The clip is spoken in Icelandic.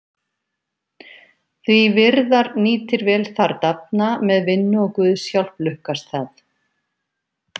Því virðar nýtir vel þar dafna, með vinnu og guðs hjálp lukkast það.